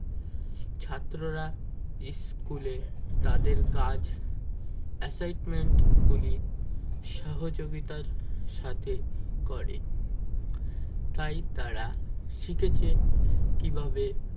ছাত্ররা school এ তাদের কাজ assignment গুলি সহযোগিতার সাথে করে তাই তারা শিখেছে কিভাবে